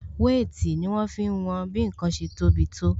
Wéètì ni wọn fi ń wọn bí ǹkan ṣe tó bi tó